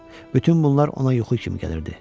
Bütün bunlar ona yuxu kimi gəlirdi.